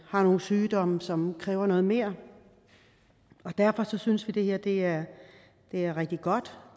har nogle sygdomme som kræver noget mere og derfor synes vi at det her er rigtig godt